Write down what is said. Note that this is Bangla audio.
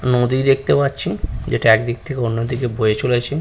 নদী দেখতে পাচ্ছি যেটা একদিক থেকে অন্যদিকে বয়ে চলেছে।